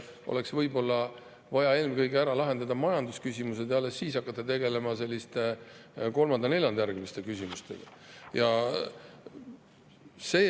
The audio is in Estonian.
Võib-olla on vaja eelkõige ära lahendada majandusküsimused ja alles siis hakata tegelema selliste kolmanda-neljandajärguliste küsimustega.